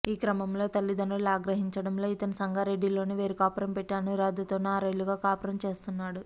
ఈ క్రమంలో తల్లిదండ్రులు ఆగ్రహించడంతో ఇతను సంగారెడ్డిలోనే వేరు కాపురం పెట్టి అనురాధతోనే ఆరేళ్లుగా కాపురం చేస్తున్నాడు